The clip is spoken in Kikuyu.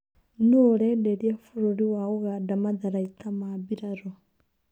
Nũũũrenderia bũrũri wa ũganda matharaita ma birarũ?